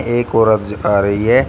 एक औरत आ रही है।